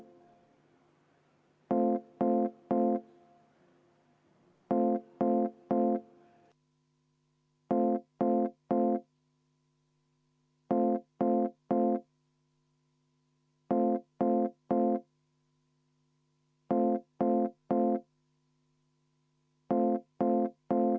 Aitäh, austatud eesistuja!